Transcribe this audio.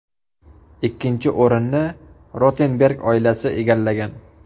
Ikkinchi o‘rinnni Rotenberg oilasi egallagan.